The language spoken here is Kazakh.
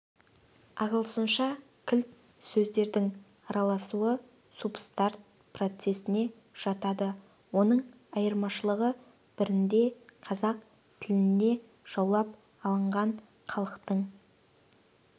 ағылшынша кілт сөздердің араласуы субстрат процесіне жатады оның айырмашылығы бірінде қазақ тіліне жаулап алынған халықтың